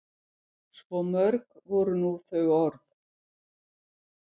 Svo mörg voru nú þau orð.